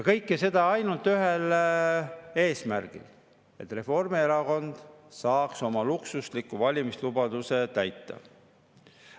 Kõike seda ainult ühel eesmärgil: et Reformierakond saaks oma luksusliku valimislubaduse täita.